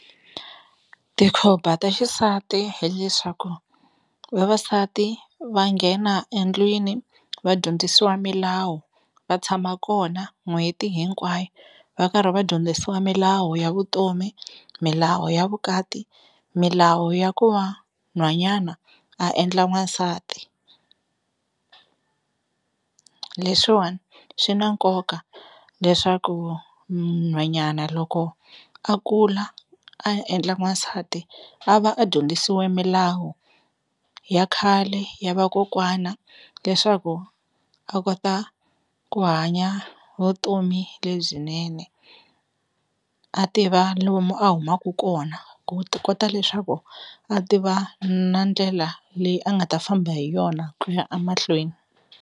Tikhomba ta xisati hileswaku vavasati va nghena endlwini va dyondzisiwa milawu va tshama kona n'hweti hinkwayo va karhi va dyondzisiwa milawu ya vutomi milawu ya vukati milawu ya ku va nhwanyana a endla n'wansati. Leswiwani swi na nkoka leswaku nhwanyana loko a kula a endla n'wansati a va a dyondzisiwe milawu ya khale ya vakokwana leswaku a kota ku hanya vutomi lebyinene a tiva lomu a humaku kona ku ti kota leswaku a tiva na ndlela leyi a nga ta famba hi yona ku ya a mahlweni.